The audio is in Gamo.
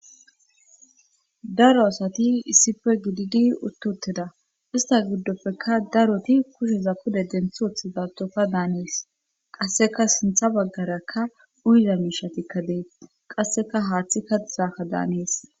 daro asati issife gididi uttuteda ista giddopfeka daroti kusheza pude denthooth zaatoka daanees qasseka sintha baggaraka uyiza miishatikkadeet qasseka haaththi kaizaakka daanees